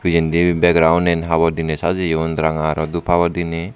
pijendi background habor diney sajeyoun ranga aro dup habor denay.